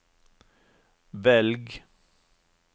velg